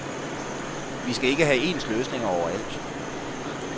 Vi skal ikke have ens løsninger overalt.